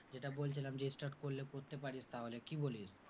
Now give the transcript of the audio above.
যেটা বলছিলাম যে start করলে করতে পারিস তাহলে, কি বলিস?